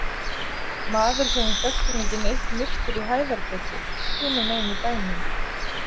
Maður sem við þekktum ekki neitt myrtur í Hæðargötu, hinumegin í bænum.